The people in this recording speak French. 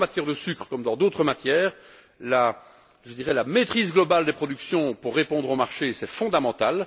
Et, en matière de sucre comme dans d'autres matières, la maîtrise globale des productions pour répondre au marché, c'est fondamental.